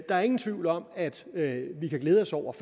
der er ingen tvivl om at at vi kan glæde os over